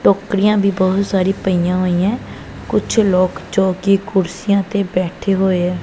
ਟੋਕਰੀਆਂ ਦੀ ਬਹੁਤ ਸਾਰੀ ਪਈਆਂ ਹੋਈਆਂ ਕੁਝ ਲੋਕ ਜੋ ਕਿ ਕੁਰਸੀਆਂ ਤੇ ਬੈਠੇ ਹੋਏ।